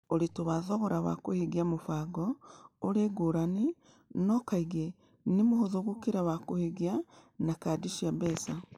Ũritũ wa thogora wa kũhingia mĩbango: Ũrĩ ngũrani, no kaingĩ nĩ mũhũthũ gũkĩra wa kũhingia na kadi cia mbeca